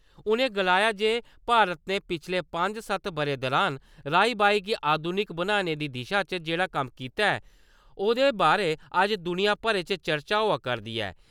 उ'नें गलाया जे भारत ने पिच्छले पंंज-सत्त ब'रें दुरान राई-बाई गी आधुनिक बनाने दी दिशा च जेह्ड़ा कम्म कीता ऐ, ओह्दे बारै अज्ज दुनिया भरै च चर्चा होआ करदी ऐ ।